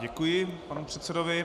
Děkuji panu předsedovi.